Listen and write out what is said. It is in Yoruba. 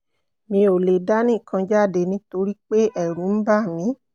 mi ò lè dá nìkan jáde nítorí pé ẹ̀rù ń bà mí